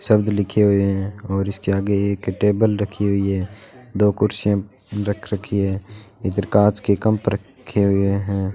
शब्द लिखे हुए हैं और इसके आगे एक टेबल रखी हुई है दो कुर्सियां रख रखी है एक कांच के कम्प रखें हुए हैं।